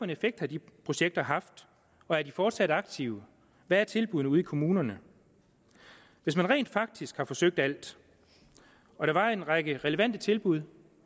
effekt har de projekter haft og er de fortsat aktive hvad er tilbuddene ude i kommunerne hvis man rent faktisk havde forsøgt alt og der var en række relevante tilbud